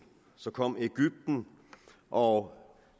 så kom egypten og